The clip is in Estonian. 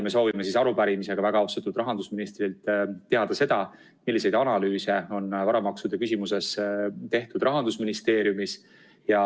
Me soovime arupärimisega väga austatud rahandusministrilt teada saada, milliseid analüüse on varamaksude küsimuses Rahandusministeeriumis tehtud.